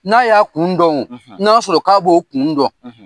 N'a y'a kun dɔn wo, na sɔrɔ k'a b'o kun dɔn